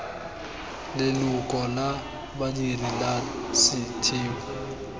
leloko la badiri la setheo